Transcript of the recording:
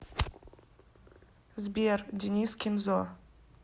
сбер денис кензо